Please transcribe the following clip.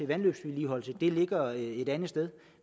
vandløbsvedligeholdelse det ligger et andet sted